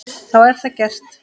Þá er það gert.